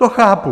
To chápu.